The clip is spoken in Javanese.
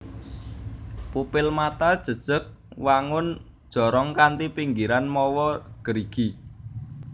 Pupil mata jejeg wangun jorong kanthi pinggiran mawa gerigi